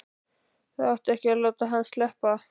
Það átti ekki að láta hann sleppa!